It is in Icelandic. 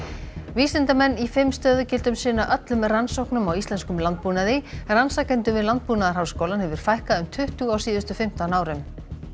vísindamenn í fimm stöðugildum sinna öllum rannsóknum á íslenskum landbúnaði rannsakendum við Landbúnaðarháskólann hefur fækkað um tuttugu á síðustu fimmtán árum